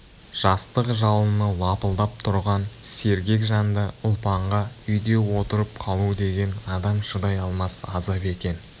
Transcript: жастық жалыны лапылдап тұрған сергек жанды ұлпанға үйде отырып қалу деген адам шыдай алмас азап екен